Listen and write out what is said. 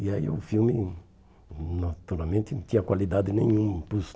E aí o filme, naturalmente, não tinha qualidade nenhuma.